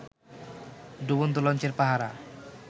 ডুবন্ত লঞ্চের পাহারা